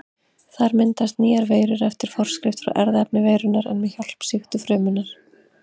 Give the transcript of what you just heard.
Þar myndast nýjar veirur eftir forskrift frá erfðaefni veirunnar en með hjálp sýktu frumunnar.